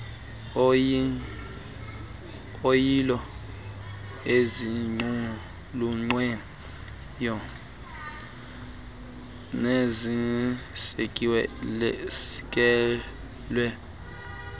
oyilo eziqulunqiweyo nezisekelwe